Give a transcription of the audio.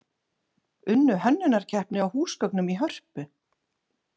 Unnu hönnunarkeppni á húsgögnum í Hörpu